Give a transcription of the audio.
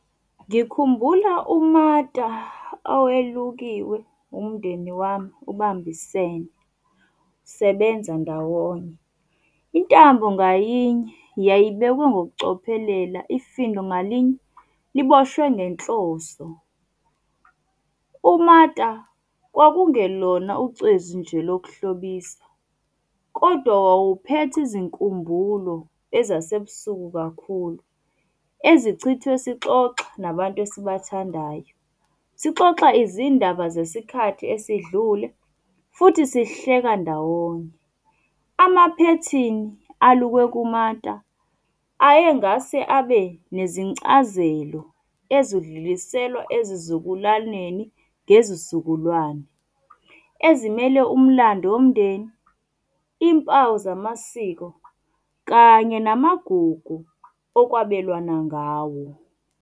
Ngikhumbula umata owelukiwe umndeni wami ubambisene, sebenza ndawonye. Intambo ngayinye, yayibekwe ngokucophelela, ifindo ngalinye, liboshwe ngenhloso. Umata, kwakungelona ucezu nje lokuhlobisa, kodwa wawuphethe izinkumbulo ezasebusuku kakhulu, ezichithwe sixoxa nabantu esibathandayo. Sixoxa izindaba zesikhathi esidlule futhi sihleka ndawonye. Amaphethini alukwe kumata ayengase abe nezincazelo ezidluliselwa ezizukulwaneni ngezizukulwane. Ezimmele umlando womndeni, impawu zamasiko kanye namagugu okwabelwana ngawo.